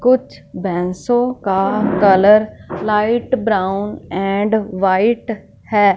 कुछ भैसों का colour light brown and white हैं।